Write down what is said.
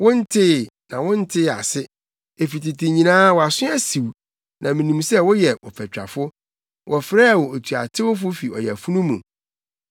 Wontee, na wontee ase; efi tete nyinaa wʼaso asiw. Na minim sɛ woyɛ ɔfatwafo; wɔfrɛɛ wo otuatewfo fi ɔyafunu mu.